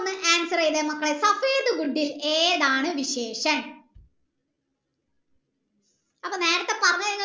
answer ചെയിതെ മക്കളെ ഏതാണ് അപ്പൊ നേരത്തെ പറന്നയന് ഒന്ന്